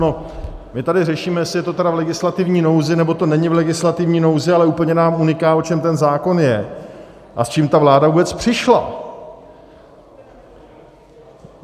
No, my tady řešíme, jestli je to tedy v legislativní nouzi, nebo to není v legislativní nouzi, ale úplně nám uniká, o čem ten zákon je a s čím ta vláda vůbec přišla.